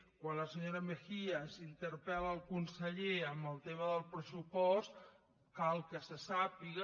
quan la senyora mejías interpel·la el conseller en el tema del pressupost cal que se sàpiga